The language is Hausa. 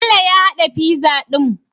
Bello ya hada pizza din?